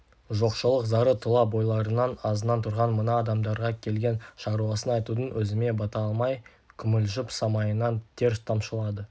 жоқшылық зары тұла бойларынан азынап тұрған мына адамдарға келген шаруасын айтудың өзіне бата алмай күмілжіп самайынан тер тамшылады